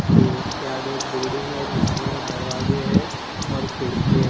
फिर उसके आगे एक बिल्डिंग है जिसमें दरवाजे हैं और खिड़की है।